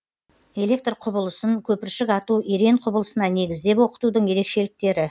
электр құбылысын көпіршік ату ерен құбылысына негіздеп оқытудың ерекшеліктері